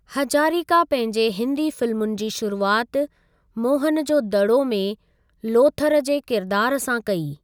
हजारिका पंहिंजे हिंदी फ़िल्मुनि जी शुरूआति 'मोहन जो दड़ो' में लोथर जे किरदारु सां कई।